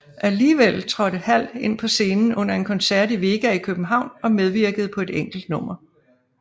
Alligevel trådte Hall ind på scenen under en koncert i Vega i København og medvirkede på et enkelt nummer